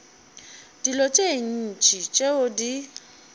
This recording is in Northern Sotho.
dilo tše ntši tšeo di